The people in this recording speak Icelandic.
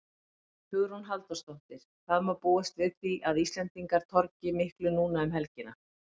Hugrún Halldórsdóttir: Hvað má búast við því að Íslendingar torgi miklu núna um helgina?